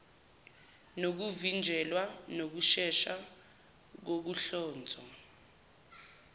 nokuvinjelwa nokushesha kokuhlonzwa